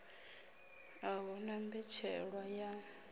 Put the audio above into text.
a hu na mbetshelwa ya